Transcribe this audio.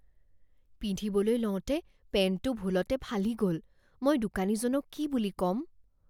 পিন্ধিবলৈ লওঁতে পেন্টটো ভুলতে ফালি গ'ল। মই দোকানীজনক কি বুলি ক'ম?